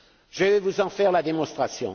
Je vais vous en faire la démonstration.